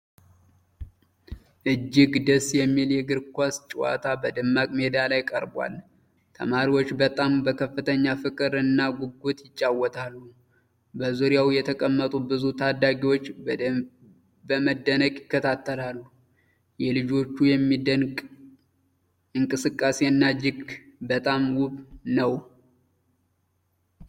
እጅግ ደስ የሚል የእግር ኳስ ጨዋታ በደማቅ ሜዳ ላይ ቀርቧል። ተማሪዎች በጣም በከፍተኛ ፍቅር እና ጉጉት ይጫወታሉ። በዙሪያው የተቀመጡ ብዙ ታዳሚዎች በመደነቅ ይከታተላሉ። የልጆቹ የሚደንቅ እንቅስቃሴና እጅግ በጣም ውብ ነው።